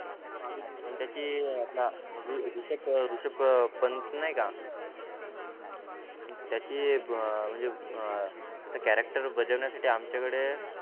पण त्याचे अं आपला ऋ ऋषभ अं ऋषभ पंत नाहीका त्याची अं म्हणजे अं त्याच Character बजवण्यासाठी आमच्याकडे